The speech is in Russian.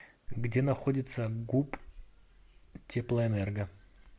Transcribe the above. где находится гуп теплоэнерго